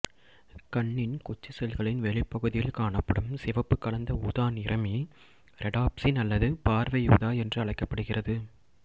கண்ணின் குச்சி செல்களின் வெளிப்புறப்பகுதியில் காணப்படும் சிவப்புக் கலந்த ஊதா நிறமி ரெடாப்சின் அல்லது பார்வை ஊதா என்று அழைக்கப்படுகிறது